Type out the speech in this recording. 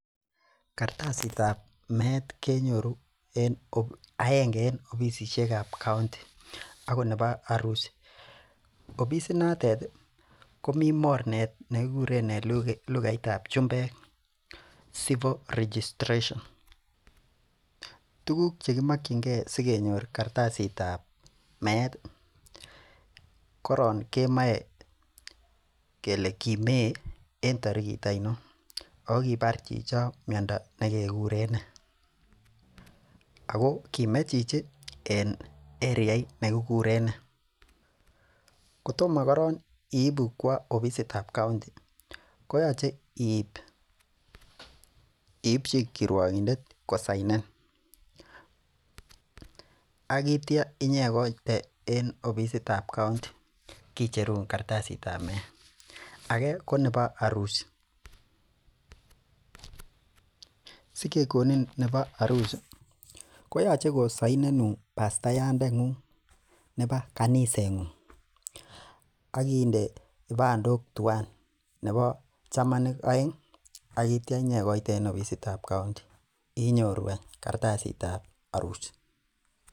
Kartasitab meet kenyoru en aenge en ofisisiekab kaonti agot nebo arusi. Ofisinotet komi mornet nekikuren en lugaitab chumbek civil registration. Tuguk chekimakyinge sigenyor kartasitab meet, koron kemoe kele kimee en tarigit ainon, ago kibar chichon miondo nekeguren nee, ago kime chichi en eriait ne kikuren nee. Kotoma koron iibu kwo ofisitab kaonti, koyoche iipchi kiruokindet kosainen. Agitya inyekoite en ofisitab kaonti. Kicherun kartasitab meet. Age ko nebo arusi. Sikekonin nebo arusi koyoche kosainenun pastayandengung neba kanisengung ak inde kipandok tuwan, nebo chamanik aeng akitya inyekoite en ofisitab kaonti, inyoru any kartasitab arusi.